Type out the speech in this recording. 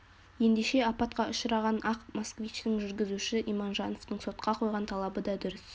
ендеше апатқа ұшыраған ақ москвичтің жүргізушісі иманжановтың сотқа қойған талабы да дұрыс